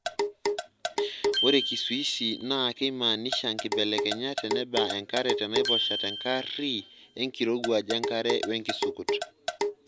Ore kizuizi naa keimaanisha nkibelekenyat teneba enkare tenaiposha tenkari enkirowuaj enkare wenkisukut.